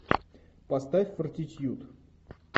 поставь фортитьюд